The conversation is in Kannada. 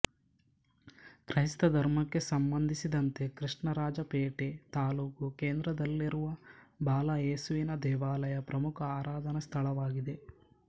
ಕ್ರೈಸ್ತ ಧರ್ಮಕ್ಕೆ ಸಂಬಂಧಿಸಿದಂತೆ ಕೃಷ್ಣರಾಜಪೇಟೆ ತಾಲ್ಲೂಕು ಕೇಂದ್ರದಲ್ಲಿರುವ ಬಾಲ ಏಸುವಿನ ದೇವಾಲಯ ಪ್ರಮುಖ ಆರಾಧನಾ ಸ್ಥಳವಾಗಿದೆ